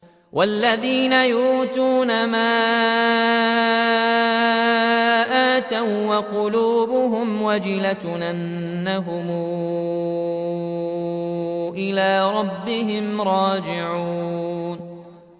وَالَّذِينَ يُؤْتُونَ مَا آتَوا وَّقُلُوبُهُمْ وَجِلَةٌ أَنَّهُمْ إِلَىٰ رَبِّهِمْ رَاجِعُونَ